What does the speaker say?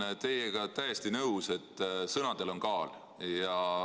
Ma olen teiega täiesti nõus, et sõnadel on kaal.